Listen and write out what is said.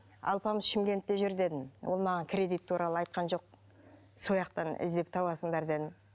алпамыс шымкентте жүр дедім ол маған кредит туралы айтқан жоқ сояқтан іздеп табасыңдар дедім